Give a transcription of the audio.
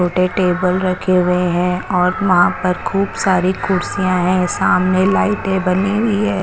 उदर टेबल रखे हुए है और वहा पर खूब सारी कुड्सिया है सामने लाइटे बनी हुई है।